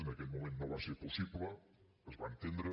en aquell moment no va ser possible es va entendre